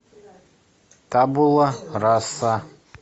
табула раса